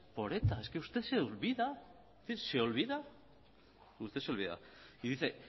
por eta es que usted se olvida y dice